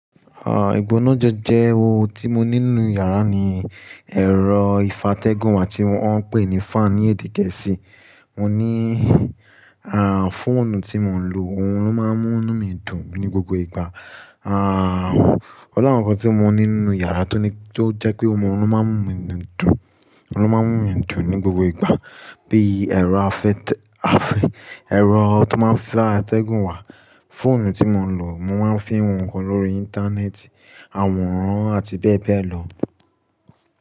Ah, ìgbónájẹ́ jẹ́ oun tí mo ní nínú yàrá ni ẹ̀rọ ìfatẹ́gùn wà tí wọ́n ń pè ní fan ní èdè gẹ̀ẹ́sì. Mo ní ah, fóònù tí mo ń lò, ohun ló máa ń mú mí dùn ní gbogbo ìgbà. Ah, ọ̀ni àwọn nǹkan tí mo ní nínú yàrá tó ní, tó jẹ́ pé ohun ló máa ń mú nu mi dùn, ohun ló máa ń múnu mi dùn ní gbogbo ìgbà bíi ẹ̀rọ afẹ́-tẹ́, afẹ́, ẹ̀rọ tó máa ń fá ìtẹ́gùn wà, fóònù tí mo ń lò, mo máa ń fín ohunkóhun lórí Íńtánẹ́ẹ̀tì, àwòrán àti bẹ́ẹ̀ bẹ́ẹ̀ lọ.